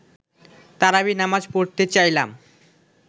তারাবি নামাজ পড়তে চাইলাম